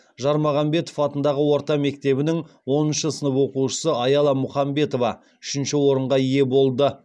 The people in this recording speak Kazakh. жармағамбетов атындағы орта мектебінің оныншы сынып оқушысы аяла мұхамбетова үшінші орынға ие болды